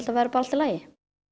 verði bara allt í lagi